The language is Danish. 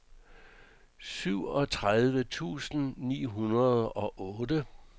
syvogtredive tusind ni hundrede og otte